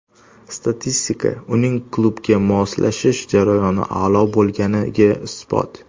Statistika uning klubga moslashish jarayoni a’lo bo‘lganiga isbot.